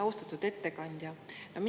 Austatud ettekandja!